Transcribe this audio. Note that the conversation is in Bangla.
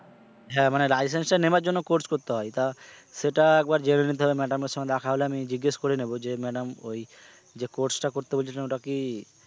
হ্যাঁ মানে licence টা নেবার জন্য course করতে হয় তা সেটা একবার জেনে নিতে হবে madam সঙ্গে দেখা হলে আমি জিজ্ঞেস করে নেব যে madam ওই যে course টা করতে বলেছিলেন ওটা কি,